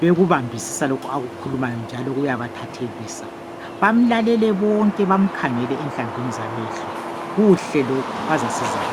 .Bekubambisisa lokhu akukhulumayo njalo uyabathathelisa . Bamlalele bonke bamkhangele enhlamvini zamehlo . Kuhle lokhu bazasizakala.